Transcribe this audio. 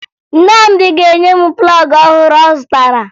Nnamdị ga-enye m plọọgụ ọhụrụ ọ zụtara